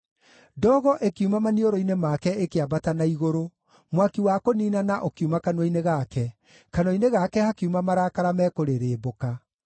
Ndogo ĩkiuma maniũrũ-inĩ make ĩkĩambata na igũrũ; mwaki wa kũniinana ũkiuma kanua-inĩ gake, kanua-inĩ gake hakiuma makara mekũrĩrĩmbũka.